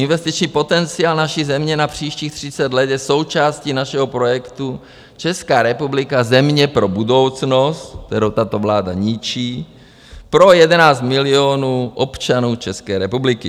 Investiční potenciál naší země na příštích 30 let součástí našeho projektu - Česká republika, země pro budoucnost - kterou tato vláda ničí, pro 11 milionů občanů České republiky.